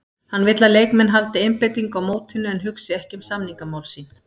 Hann vill að leikmenn haldi einbeitingu á mótinu en hugsi ekki um samningamál sín.